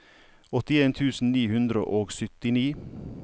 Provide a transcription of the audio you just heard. åttien tusen ni hundre og syttini